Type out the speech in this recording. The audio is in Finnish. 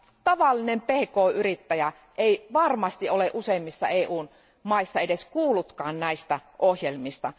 Tavallinen pk yrittäjä ei varmasti ole useimmissa EUn maissa edes kuullutkaan näistä ohjelmista.